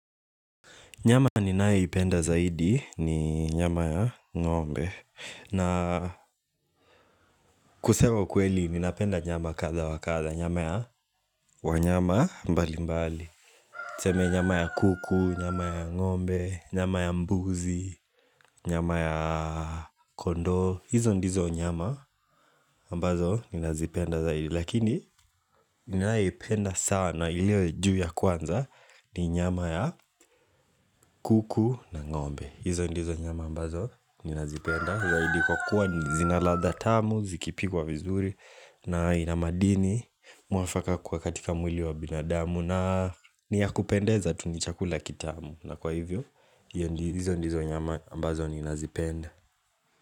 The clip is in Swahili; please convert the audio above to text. Nyama ninayoipenda zaidi ni nyama ya ngombe na kusema ukweli ninapenda nyama kadha wa kadha Nyama ya wanyama mbali mbali Tuseme nyama ya kuku, nyama ya ngombe, nyama ya mbuzi, nyama ya kondo hizo ndizo nyama ambazo ninazipenda zaidi Lakini ninayeipenda sana ilio juu ya kwanza ni nyama ya kuku na ngombe hizo ndizo nyama ambazo ninazipenda Zaidi kwa kuwa zina ladha tamu, zikipikwa vizuri na ina madini, mwafaka katika mwili wa binadamu na ni ya kupendeza tu ni chakula kitamu na kwa hivyo, hizo ndizo nyama ambazo ninazipenda.